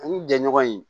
Ani jɛɲɔgɔn in